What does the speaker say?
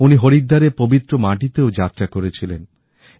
উনি হরিদ্দারের পবিত্র মাটিতেও যাত্রা করেছিলেন